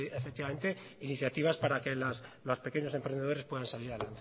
iniciativas para que los pequeños emprendedores puedan seguir